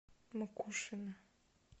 макушино